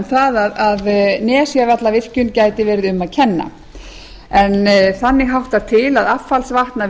það að nesjavallavirkjun gæti verið um að kenna en þannig háttar til að affallsvatn af